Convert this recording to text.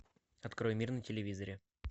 открой мир на телевизоре